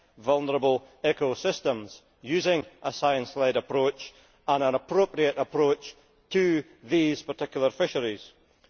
vulnerable ecosystems using a science led approach and an appropriate approach to these particular fisheries.